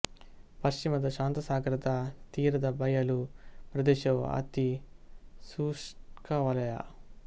ಪಶ್ಚಿಮದ ಶಾಂತಸಾಗರದ ತೀರದ ಬಯಲು ಪ್ರದೇಶವು ಅತಿ ಶುಷ್ಕ ವಲಯ